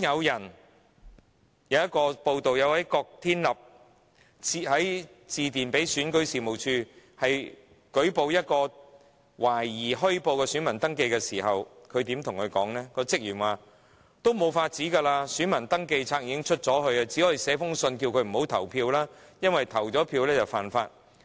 有報道指出，當郭天立致電選舉事務處舉報一宗懷疑虛報的選民登記時，職員回覆指："沒有辦法了，選民登記冊已經發出，只能發信叫他不要投票，因為投票便屬違法。